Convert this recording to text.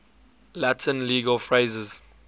latin legal phrases